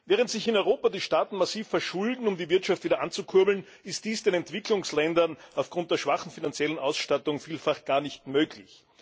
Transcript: Während sich in Europa die Staaten massiv verschulden, um die Wirtschaft wieder anzukurbeln, ist dies den Entwicklungsländern aufgrund ihrer schwachen finanziellen Ausstattung vielfach gar nicht möglich.